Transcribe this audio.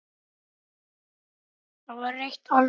Það var reykt alls staðar.